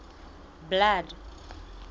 blood